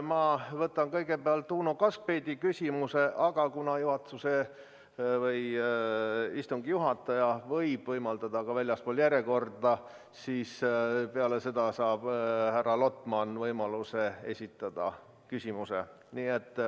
Ma võtan kõigepealt Uno Kaskpeiti küsimuse, aga kuna istungi juhataja võib võimaldada küsida ka väljaspool järjekorda, siis peale seda saab härra Lotman võimaluse esitada küsimuse.